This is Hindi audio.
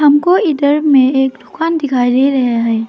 हमको इधर में एक दुकान दिखाई दे रहा है।